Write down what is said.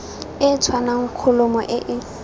e tshwanang kholomo e e